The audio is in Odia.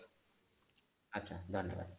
ଆଚ୍ଛା ଧନ୍ୟବାଦ